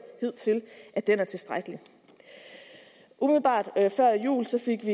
hidtil er tilstrækkelig umiddelbart før jul fik